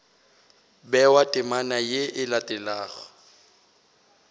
bewa temana ye e latelago